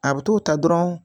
A bɛ t'o ta dɔrɔn